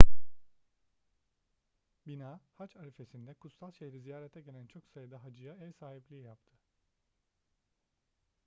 bina hac arifesinde kutsal şehri ziyarete gelen çok sayıda hacıya ev sahipliği yaptı